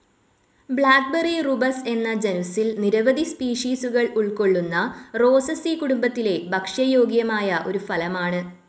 Blackberry Rubus എന്ന ജനുസ്സിൽ നിരവധി സ്പീഷീസുകൾ ഉൾക്കൊള്ളുന്ന റോസസി കുടുംബത്തിലെ ഭക്ഷ്യയോഗ്യമായ ഒരു ഫലമാണ്.